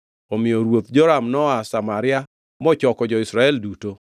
Omiyo Ruoth Joram noa Samaria mochoko jo-Israel duto.